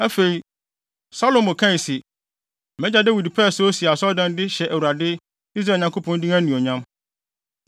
Afei, Salomo kae se, “Mʼagya Dawid pɛɛ sɛ osi Asɔredan yi de hyɛ Awurade, Israel Nyankopɔn din anuonyam.